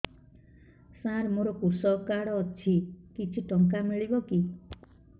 ସାର ମୋର୍ କୃଷକ କାର୍ଡ ଅଛି କିଛି ଟଙ୍କା ମିଳିବ କି